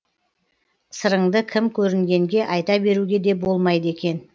сырыңды кім көрінгенге айта беруге де болмайды екен